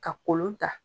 Ka kolon ta